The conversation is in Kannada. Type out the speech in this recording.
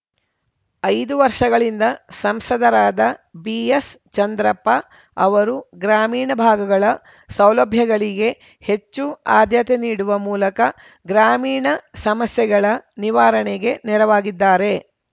ಐದು ವರ್ಷಗಳಿಂದ ಸಂಸದರಾದ ಬಿಎಸ್ ಚಂದ್ರಪ್ಪ ಅವರು ಗ್ರಾಮೀಣ ಭಾಗಗಳ ಸೌಲಭ್ಯಗಳಿಗೆ ಹೆಚ್ಚು ಆದ್ಯತೆ ನೀಡುವ ಮೂಲಕ ಗ್ರಾಮೀಣ ಸಮಸ್ಯೆಗಳ ನಿವಾರಣೆಗೆ ನೆರವಾಗಿದ್ದಾರೆ